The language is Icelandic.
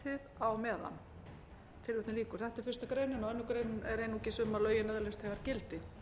sætið á meðan þetta er fyrsta grein og aðra grein er einungis um að lögin öðlist þegar gildi